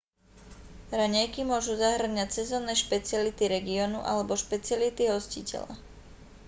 raňajky môžu zahŕňať sezónne špeciality regiónu alebo špeciality hostiteľa